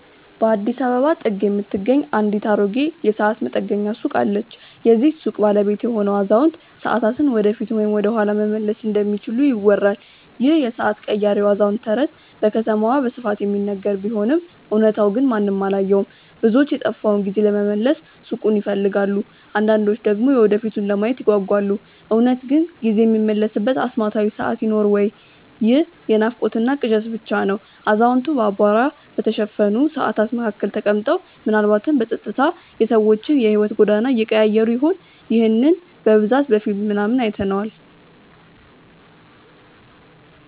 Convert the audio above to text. በአዲስ አበባ ጥግ የምትገኝ አንዲት አሮጌ የሰዓት መጠገኛ ሱቅ አለች። የዚህች ሱቅ ባለቤት የሆነው አዛውንት፣ ሰዓታትን ወደፊት ወይም ወደኋላ መመለስ እንደሚችሉ ይወራል ይህ የሰዓት ቀያሪው አዛውንት ተረት በከተማዋ በስፋት የሚነገር ቢሆንም እውነታው ግን ማንም አላየውም። ብዙዎች የጠፋውን ጊዜ ለመመለስ ሱቁን ይፈልጋሉ አንዳንዶች ደግሞ የወደፊቱን ለማየት ይጓጓሉ። እውነት ግን ጊዜ የሚመለስበት አስማታዊ ሰዓት ይኖር ወይ ይህ የናፍቆትና ቅዠት ብቻ ነው አዛውንቱ በአቧራ በተሸፈኑ ሰዓታት መካከል ተቀምጠው፣ ምናልባትም በጸጥታ የሰዎችን የሕይወት ጎዳና እየቀያየሩ ይሆን? ይህንን በብዛት በፊልም ምናምን አይተነዋል